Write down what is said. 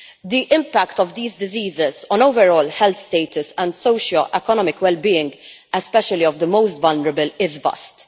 The impact of these diseases on overall health status and socioeconomic well being, especially of the most vulnerable, is vast.